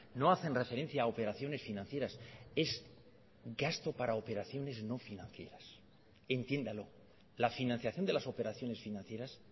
no hacen referencia a operaciones financieras es gasto para operaciones no financieras entiéndalo la financiación de las operaciones financieras